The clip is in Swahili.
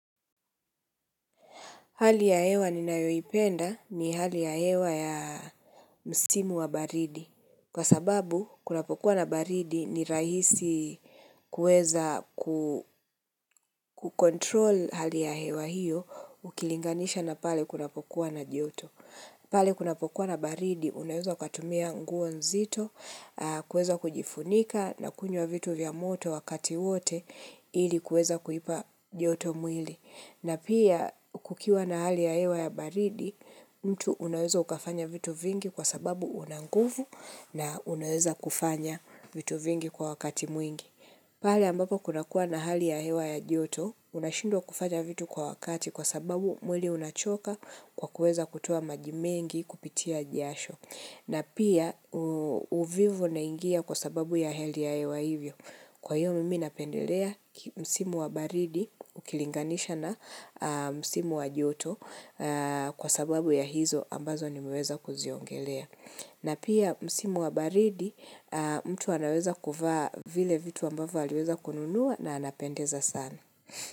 Hali ya hewa ni nayoipenda ni hali ya hewa ya msimu wa baridi. Kwa sababu, kunapokuwa na baridi ni rahisi kueza kukontrol hali ya hewa hiyo ukilinganisha na pale kunapokuwa na joto. Pale kunapokuwa na baridi, unaweza ukatumia nguo nzito, kueza kujifunika na kunywa vitu vya moto wakati wote ili kueza kuipa joto mwili. Na pia kukiwa na hali ya hewa ya baridi, mtu unaweza ukafanya vitu vingi kwa sababu unanguvu na unaweza kufanya vitu vingi kwa wakati mwingi. Pale ambapo kuna kuwa na hali ya hewa ya joto, unashindwa kufanya vitu kwa wakati kwa sababu mwili unachoka kwa kuweza kutoa majimengi kupitia jasho. Na pia uvivu unaingia kwa sababu ya hali ya hewa hivyo. Kwa hiyo mimi napendelea msimu wa baridi ukilinganisha na msimu wa joto kwa sababu ya hizo ambazo nimeweza kuziongelea. Na pia msimu wa baridi mtu anaweza kuvaa vile vitu ambavyo aliweza kununuwa na anapendeza sana.